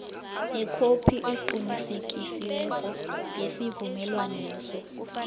nekhophi eqinisekisiweko yesivumelwaneso